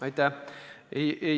Aitäh!